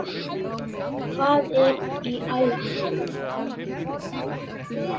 Hvað er í ævi?